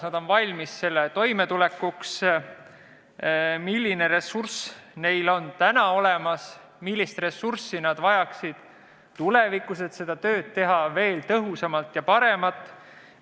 Milline ressurss on neil täna olemas ja millist ressurssi nad vajaksid tulevikus, et teha seda tööd veel tõhusamalt ja paremini?